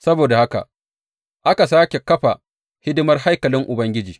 Saboda haka aka sāke kafa hidimar haikalin Ubangiji.